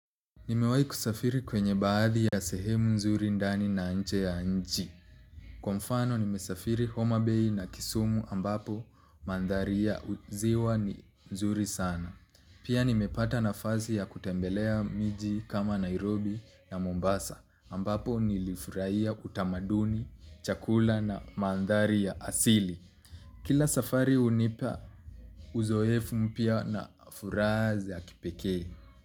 Nimewai kusafiri kwenye baadhi ya sehemu nzuri ndani na nje ya nchi. Kwa mfano nimesafiri Homa Bay na Kisumu ambapo maandhari ya ziwa ni nzuri sana. Pia nimepata nafasi ya kutembelea miji kama Nairobi na Mombasa ambapo nilifurahia utamaduni, chakula na mandhari ya asili. Kila safari hunipa uzoefu mpya na furaha za kipekee.